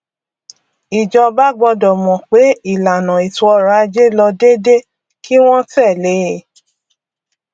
ìjọba gbọdọ mọ pé ìlànà ètòọrọajé lọ déédé kí wọn tẹlé e